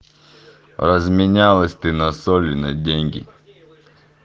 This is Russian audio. разменялась ты на соли на деньги